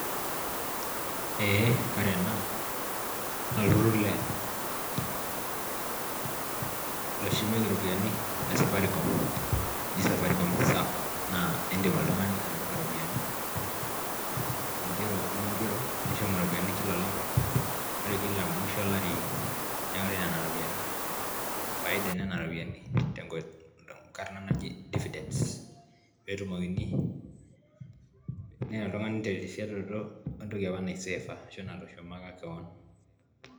Ee ore ena naa olturrur le loshumieki iropiyiani le safaricom oji safaricom sacco naa indim oltung'ani atipika iropiyiani ingero omingero, nishum iropiyiani kila olapa ore kila musho olari neori nena ropiyiani, faida e nena ropiyiani tenkoitoi tenkarna naji dividence peetumokini, neya oltung'ani terisioroto wentoki apa naisefa ashu natushumaka kewon.